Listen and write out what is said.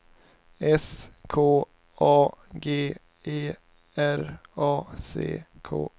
S K A G E R A C K